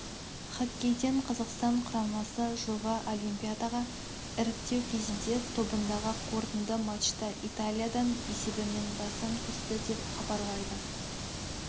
хоккейден қазақстан құрамасы жылғы олимпиадаға іріктеу кезеңінде тобындағы қорытынды матчта италиядан есебімен басым түсті деп хабарлайды